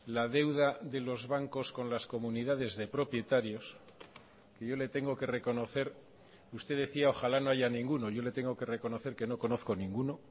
la deuda de los bancos con las comunidades de propietarios que yo le tengo que reconocer usted decía ojalá no haya ninguno yo le tengo que reconocer que no conozco ninguno